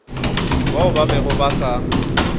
bao ba bego ba sa